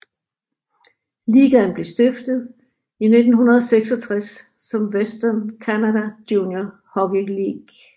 Ligaen blev stiftet i 1966 som Western Canada Junior Hockey League